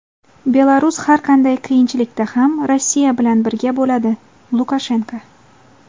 Belarus har qanday qiyinchilikda ham Rossiya bilan birga bo‘ladi – Lukashenko.